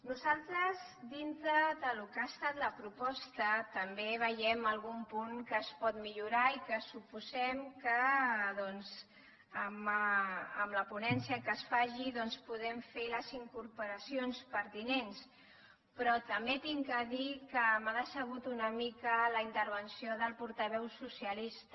nosaltres dintre del que ha estat la proposta també veiem algun punt que es pot millorar i que suposem que doncs en la ponència que es faci podem fer les incorporacions pertinents però també he de dir que m’ha decebut una mica la intervenció del portaveu socialista